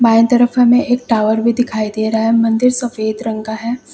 बाएं तरफ हमें एक टॉवर भी दिखाई दे रहा है। मंदिर सफेद रंग का है।